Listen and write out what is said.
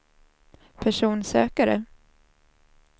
personsökare